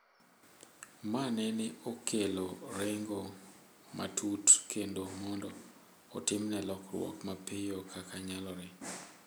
"Ma nene okelo rengo matut kendo mondo otimne lokruok mapiyo kaka nyalore."